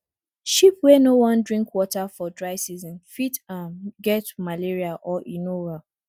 sheep wey no wan drink water for dry season fit um get malaria or e no well